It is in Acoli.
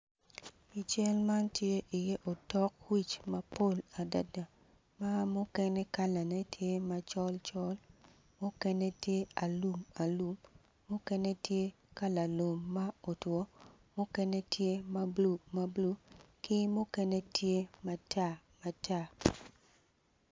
I cal man tye iye otok wic mapol adada ma mukene kalane tye macol col mukene tye alumalum mukene tye kala lum ma otwo mukene tye mablu mablu ki mukene tye matar matar.